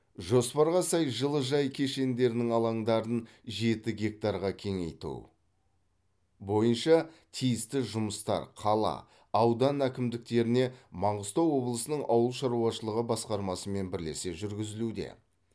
жоспарға сай жылыжай кешендерінің алаңдарын жеті гектарға кеңейту бойынша тиісті жұмыстар қала аудан әкімдіктеріне маңғыстау облысының ауыл шаруашылығы басқармасымен бірлесе жүргізілуде